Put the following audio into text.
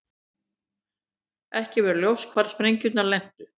Ekki var ljóst hvar sprengjurnar lentu